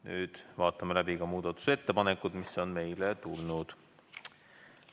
Nüüd vaatame läbi ka muudatusettepanekud, mis on meile tulnud.